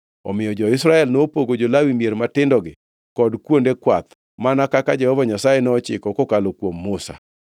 Omiyo jo-Israel nopogo jo-Lawi mier matindogi kod kuonde kwath, mana kaka Jehova Nyasaye nochiko kokalo kuom Musa.